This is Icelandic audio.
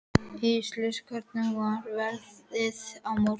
Íssól, hvernig er veðrið á morgun?